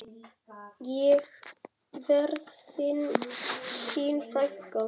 Ég verð þín frænka.